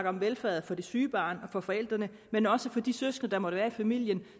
om velfærdet for det syge barn og forældrene men også for de søskende der måtte være i familien